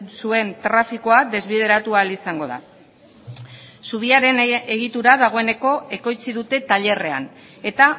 zuen trafikoa desbideratu ahal izango da zubiaren egitura dagoeneko ekoitzi dute tailerrean eta